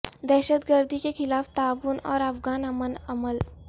دہشت گردی کے خلاف تعاون اور افغان امن عمل